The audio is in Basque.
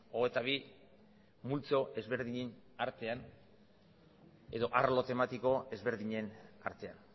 hogeita bi multzo ezberdinen artean edo arlo tematiko ezberdinen artean